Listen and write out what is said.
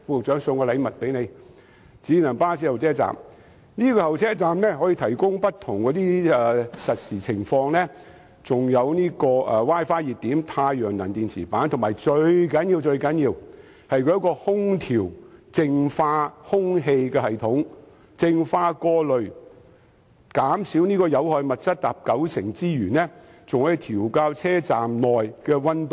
智能巴士候車站能提供不同的實時資訊，並備有 Wi-Fi 熱點、太陽能電池板，以及最重要的空調淨化空氣系統，可淨化、過濾、減少有害物質達九成之多，更可調校車站內的溫度。